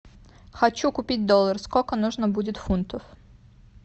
хочу купить доллар сколько нужно будет фунтов